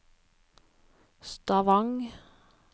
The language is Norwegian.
Stavang